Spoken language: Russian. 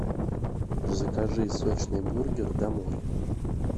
закажи сочный бургер домой